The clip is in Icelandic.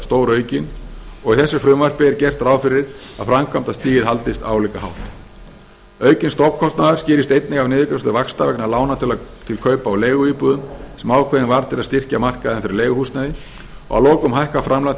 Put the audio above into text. stóraukin og í þessu frumvarpi er gert ráð fyrir að framkvæmdastigið haldist álíka hátt aukinn stofnkostnaður skýrist einnig af niðurgreiðslu vaxta vegna lána til kaupa á leiguíbúðum sem ákveðin var til að styrkja markaðinn fyrir leiguhúsnæði að lokum hækkar framlag